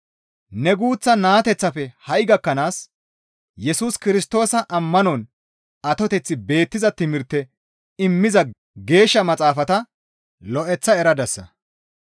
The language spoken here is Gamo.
Ne guuththa naateththafe ha7i gakkanaas Yesus Kirstoosa ammanon atoteththi beettiza timirte immiza Geeshsha Maxaafata lo7eththa eradasa.